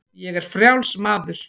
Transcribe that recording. Ég er frjáls maður!